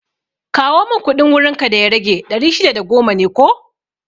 Kawo mun kuɗin wurin ka da ya rage, ɗari shida da goma ne ko?